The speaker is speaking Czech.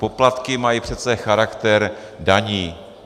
Poplatky mají přece charakter daní.